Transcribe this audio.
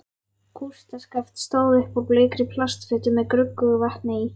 Kústskaft stóð upp úr bleikri plastfötu með gruggugu vatni í.